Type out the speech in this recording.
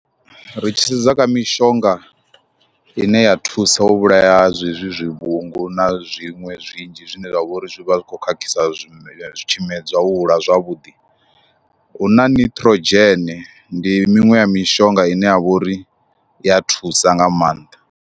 Ri tshi sedza kha mishonga ine ya thusa u vhulaya zwezwi zwivhungu na zwiṅwe zwinzhi zwine zwa vha uri zwi vha zwi khou khakhisa zwime tshimedzwa u hula zwavhuḓi, hu na nitrogen ndi miṅwe ya mishonga ine ya vha uri i ya thusa nga maanḓa.